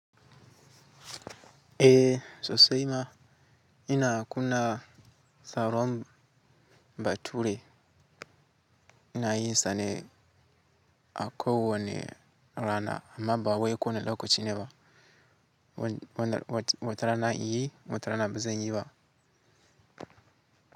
Eh, sosai ma ina kunna tsaron bature ina yinsa ne akowone rana amma ba wai ko wanne lokacine ba. Wata rana in yi, wata rana ba zan yi ba.